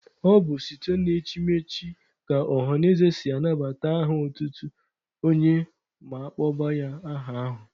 Ọ bụ site na echimechi ka ọhanaeze si anabata aha otutu onye ma kpọba ya aha ahụ.